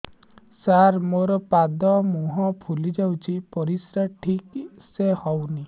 ସାର ମୋରୋ ପାଦ ମୁହଁ ଫୁଲିଯାଉଛି ପରିଶ୍ରା ଠିକ ସେ ହଉନି